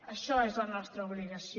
això és la nostra obligació